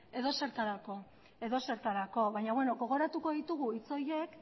edozertarako baina beno gogoratuko ditugu hitz horiek